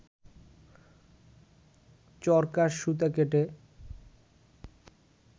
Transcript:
চরকায় সুতা কেটে